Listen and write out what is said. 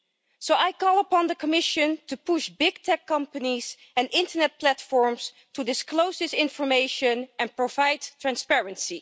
So I call upon the Commission to push big tech companies and internet platforms to disclose this information and provide transparency.